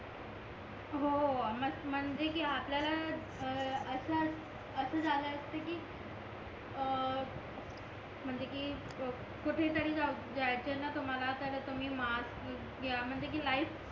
हो म्हणजे कि आपल्याला असा झाला असता कि अं म्हणजे कि कुठे तरी जायचा तर मला तर मी मास्क घ्या म्हणजे कि लाईफ